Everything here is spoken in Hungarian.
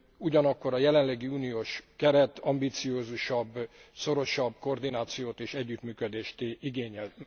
Ugyanakkor a jelenlegi uniós keret ambiciózusabb, szorosabb koordinációt és együttműködést igényel.